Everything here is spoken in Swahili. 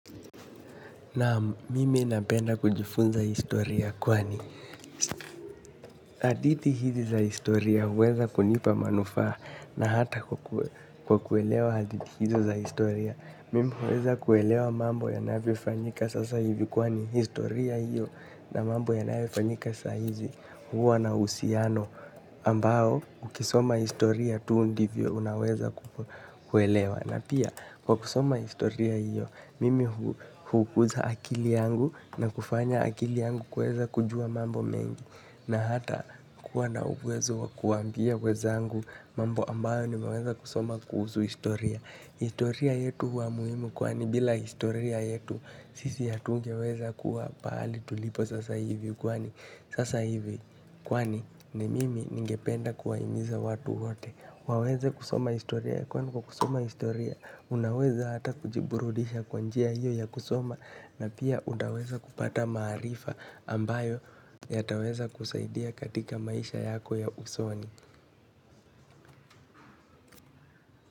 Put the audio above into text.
Naam, mimi napenda kujifunza historia kwani hadithi hizi za historia huweza kunipa manufaa na hata kwa kuelewa hadithi hizo za historia. Mimi huweza kuelewa mambo yanavyofanyika sasa hivi kwani historia hiyo na mambo yanayofanyika saa hizi huwa na uhusiano ambao ukisoma historia tu ndivyo unaweza kuelewa. Na pia kwa kusoma historia hiyo, mimi hukuza akili yangu na kufanya akili yangu kuweza kujua mambo mengi na hata kuwa na uwezo wa kuambia wenzangu mambo ambayo nimeweza kusoma kuhusu historia. Historia yetu huwa muhimu kwani bila historia yetu sisi hatungeweza kuwa pahali tulipo sasa hivi kwani sasa hivi kwani ni mimi ningependa kuwahimiza watu wote waweze kusoma historia kwani kwa kusoma historia unaweza hata kujiburudisha kwa njia hiyo ya kusoma na pia utaweza kupata maarifa ambayo yataweza kusaidia katika maisha yako ya usoni.